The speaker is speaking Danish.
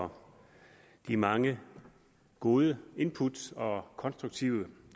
for de mange gode input og konstruktive